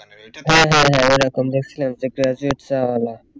ওইরকম দেখছিলাম যে graduate চা ওয়ালা